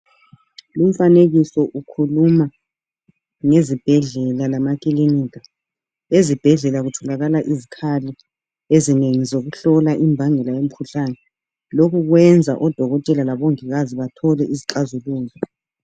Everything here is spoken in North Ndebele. Umfanekiso ukhuluma ngezibhedlela lamakilinika ezibhedlela kutholakala izikhali ezinengi zokuhlola imbangela yomkhuhlane lokhu kwenza odokotela labo mongikazi bathole izixazululo